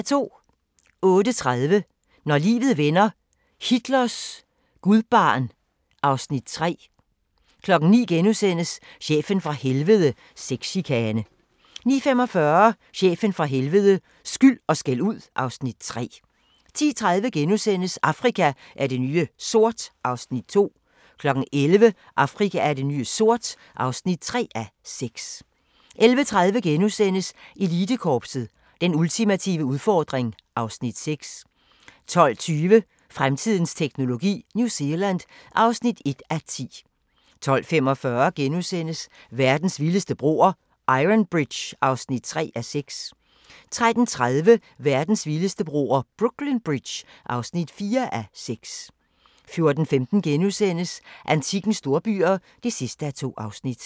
08:30: Når livet vender - Hitlers gudbarn (Afs. 3) 09:00: Chefen fra Helvede - Sexchikane * 09:45: Chefen fra helvede – skyld & skældud (Afs. 3) 10:30: Afrika er det nye sort (2:6)* 11:00: Afrika er det nye sort (3:6) 11:30: Elitekorpset – Den ultimative udfordring (Afs. 6)* 12:20: Fremtidens teknologi: New Zealand (1:10) 12:45: Verdens vildeste broer – Iron Bridge (3:6)* 13:30: Verdens vildeste broer – Brooklyn Bridge (4:6) 14:15: Antikkens storbyer (2:2)*